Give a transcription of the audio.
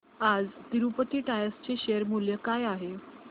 आज तिरूपती टायर्स चे शेअर मूल्य काय आहे